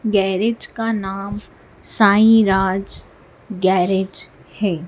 Garage का नाम Sai Raj garage है।